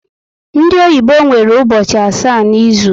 Ndị oyibo nwere ụbọchị asaá n'izu